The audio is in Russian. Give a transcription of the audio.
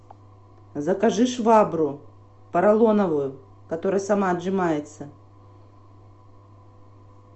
закажи швабру поролоновую которая сама отжимается